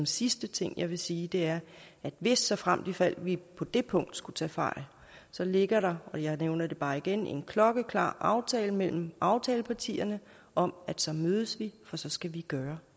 sidste ting jeg vil sige er at hvis såfremt ifald vi på det punkt skulle tage fejl ligger der og jeg nævner det bare igen en klokkeklar aftale mellem aftalepartierne om at så mødes vi for så skal vi gøre